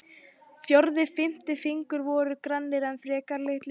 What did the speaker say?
Fjórði og fimmti fingur voru grannir og frekar litlir.